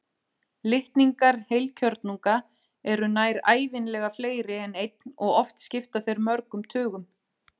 Litningar heilkjörnunga eru nær ævinlega fleiri en einn og oft skipta þeir mörgum tugum.